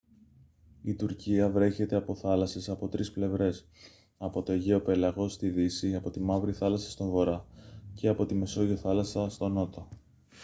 η τουρκία βρέχεται από θάλασσες από τρεις πλευρές από το αιγαίο πέλαγος στη δύση από τη μαύρη θάλασσα στον βορρά και από τη μεσόγειο θάλασσα στον νότο